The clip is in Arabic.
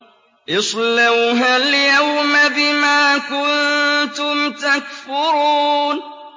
اصْلَوْهَا الْيَوْمَ بِمَا كُنتُمْ تَكْفُرُونَ